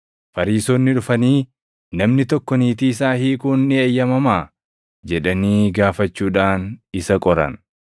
Fariisonni dhufanii, “Namni tokko niitii isaa hiikuun ni eeyyamamaa?” jedhanii gaafachuudhaan isa qoran.